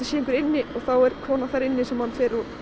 sé einhver inni og þá er kona þar inni sem hann fer og